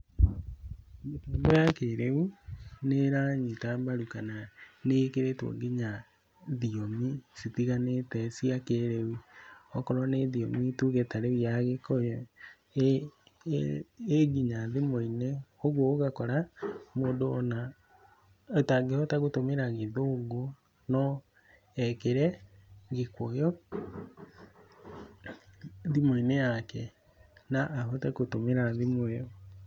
Mĩtambo ya kĩrĩu nĩĩranyita mbaru kana nĩ ĩkĩrĩtwo nginya thiomi citiganĩte cia kĩrĩu, okorwo nĩ thiomi nĩ tuge ta rĩu ya gĩkũyũ, ĩ nginya thimu-inĩ ũguo ũgakora mũndũ ona atangĩhota gũtũmĩra gĩthũngũ, no ekĩre gĩkũyũ thimũ-inĩ yake na ahote gũtũmĩra thimũ ĩyo.